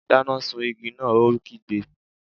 Dáná sun igi náà! Ó kígbe.